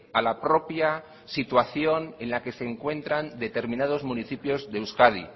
a la propia situación en la que se encuentran determinados municipios de euskadi